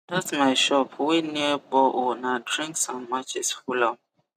that my shop wey near borehole na drinks and matches full am